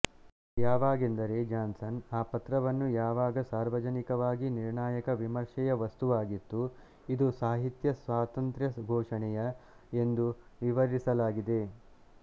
ಯಾವಾಗೆಂದರೆ Johnson ಆ ಪತ್ರವನ್ನು ಯಾವಾಗ ಸಾರ್ವಜನಿಕವಾಗಿ ನಿರ್ಣಾಯ ವಿಮರ್ಶೆಯ ವಸ್ತುವಾಗಿತ್ತುಇದು ಸಾಹಿತ್ಯ ಸ್ವಾತಂತ್ರ್ಯ ಘೋಷಣೆಯ ಎಂದು ವಿವರಿಸಲಾಗಿದೆ